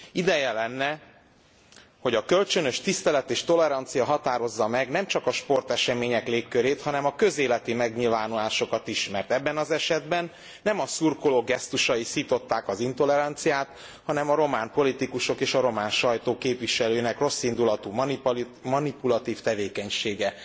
Ideje lenne, hogy a kölcsönös tisztelet és tolerancia határozza meg nemcsak a sportesemények légkörét, hanem a közéleti megnyilvánulásokat is, mert ebben az esetben nem a szurkolók gesztusai szították az intoleranciát, hanem a román politikusok és a román sajtó képviselőinek rosszindulatú manipulatív tevékenysége.